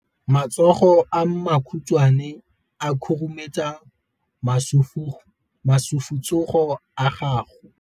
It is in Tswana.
Matsogo a makhutshwane a khurumetsa masufutsogo a gago.